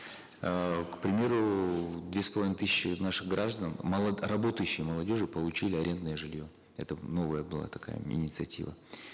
э к примеру две с половиной тысячи наших граждан работающей молодежи получили арендное жилье это новая была такая мини инициатива